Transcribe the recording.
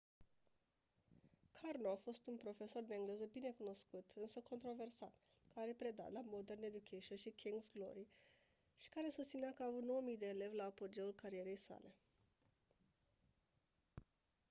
karno a fost un profesor de engleză binecunoscut însă controversat care a predat la modern education și king's glory și care susținea că a avut 9 000 de elevi la apogeul carierei sale